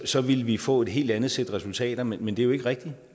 så ville vi få et helt andet sæt resultater men men det er jo ikke rigtigt